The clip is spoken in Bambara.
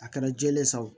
A kɛra jɛlen san wo